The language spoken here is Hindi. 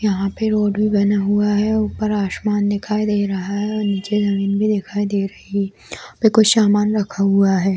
यहाँ पे रोड भी बना हुआ है ऊपर आसमान दिखाई दे रहा है और निचे जमीन भी दिखाई दे रही है कुछ सामन रखा हुआ है |